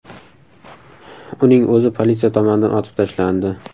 Uning o‘zi politsiya tomonidan otib tashlandi.